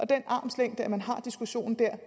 den armslængde at man har diskussionen der